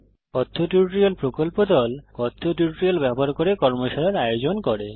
কথ্য টিউটোরিয়াল প্রকল্প দল কথ্য টিউটোরিয়াল ব্যবহার করে কর্মশালার আয়োজন করে